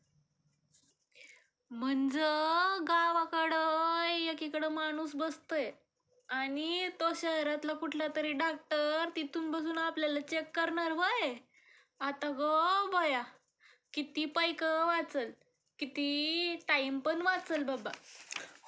म्हणजे गावकडं. एकीकडं माणूस बसतयं आणि तो शहरातला कुठलातरी डॉक्टर चेक करणार होय ? आता गो बया..किती पैक वाचल, किती टाइमपण वाचलं बाबा आता ग बया!